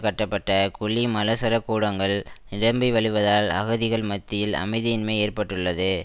கட்டப்பட்ட குழி மலசலகூடங்கள் நிரம்பிவழிவதால் அகதிகள் மத்தியில் அமைதியின்மை ஏற்பட்டுள்ளது